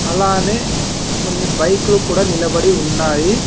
అలానే కొన్ని బైకు లు కూడా నిలబడి ఉన్నాయి.